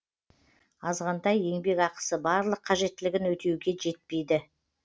азғантай еңбекақысы барлық қажеттілігін өтеуге жетпейді